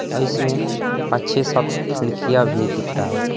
और इसमें अच्छे सब खिड़कियां भी दिख रहा है।